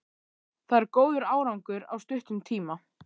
Það er góður árangur á stuttum tíma.